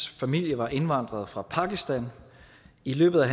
familie var indvandret fra pakistan i løbet af